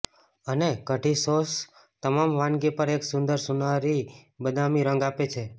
અને કઢી સોસ તમામ વાનગી પર એક સુંદર સોનારી બદામી રંગ આપે છે